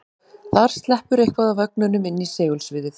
Þar sleppur eitthvað af ögnunum inn í segulsviðið.